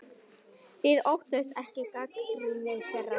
Þið óttist ekki gagnrýni þeirra?